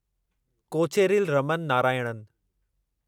Kocheril Raman Narayanan